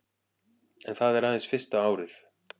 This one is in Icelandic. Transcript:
En það er aðeins fyrsta árið